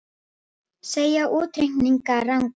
Segja útreikninga ranga